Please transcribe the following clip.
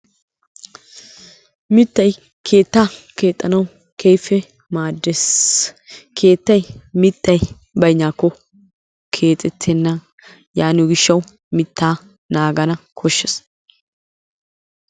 miittay keettaa keexxanaw keehippe maaddees. keettay miittay bayinaako keexetenna. yaaniyoo giishaw miittaa naaga koshees.